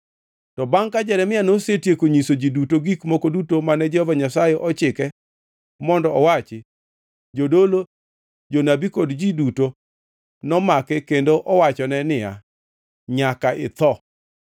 To bangʼ ka Jeremia nosetieko nyiso ji duto gik moko duto mane Jehova Nyasaye ochike mondo owachi, jodolo, jonabi kod ji duto nomake kendo owachone niya, “Nyaka itho!